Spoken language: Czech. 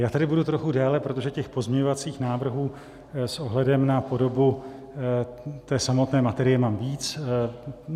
Já tady budu trochu déle, protože těch pozměňovacích návrhů s ohledem na podobu té samotné materie mám víc.